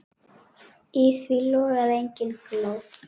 Í því logaði engin glóð.